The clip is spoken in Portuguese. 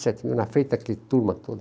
vinte e sete mil, na frente daquele turma todo.